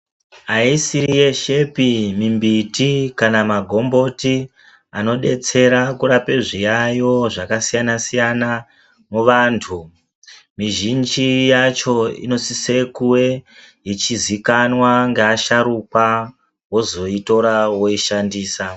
Haisiri yeshepi mimbiti kana magomboti anodetsera kurape zviyayo zvakasiyana -siyana muvantu. Mizhinji yacho inosise kuwee ichizikanwa ngavasharukwa wozoitora woishandisa.